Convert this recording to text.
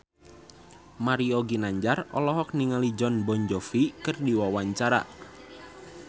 Mario Ginanjar olohok ningali Jon Bon Jovi keur diwawancara